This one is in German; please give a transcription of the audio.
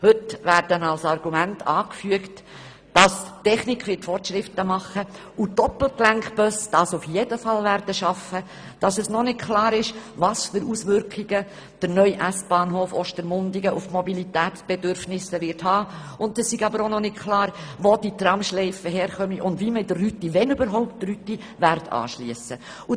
Heute werden als Argumente angeführt, dass die Technik Fortschritte mache und es die Doppelgelenkbusse auf jeden Fall schaffen werden, dass es noch nicht klar sei, welche Auswirkungen der neue S-Bahnhof Ostermundigen auf die Mobilitätsbedürfnisse haben werde, wo die Tramschleife hinkomme und wie man in die Rüti, wenn überhaupt, anschliessen werde.